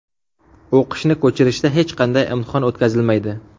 O‘qishni ko‘chirishda hech qanday imtihon o‘tkazilmaydi.